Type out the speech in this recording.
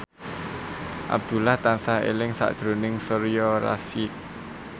Abdullah tansah eling sakjroning Soraya Rasyid